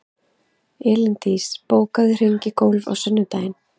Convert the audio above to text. Elíndís, bókaðu hring í golf á sunnudaginn.